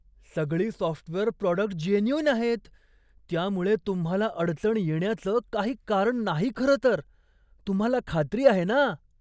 सगळी software product genuine आहेत, त्यामुळे तुम्हाला अडचण येण्याचं काही कारण नाही खरंतर. तुम्हाला खात्री आहे ना?